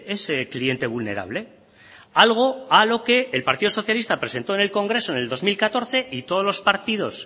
ese cliente vulnerable algo a lo que el partido socialista presentó en el congreso en el dos mil catorce y todos los partidos